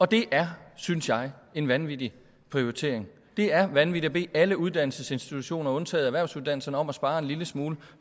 det er synes jeg en vanvittig prioritering det er vanvittigt at bede alle uddannelsesinstitutioner undtagen erhvervsuddannelserne om at spare en lille smule